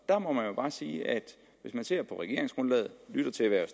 der må jeg jo bare sige at hvis man ser på regeringsgrundlaget og lytter til hvad